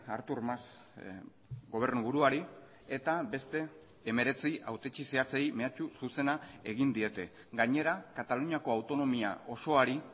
artur mas gobernu buruari eta beste hemeretzi hautetsi zehatzei mehatxu zuzena egin diete gainera kataluniako autonomia osoari